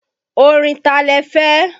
Orin ta lẹ́ fẹ́?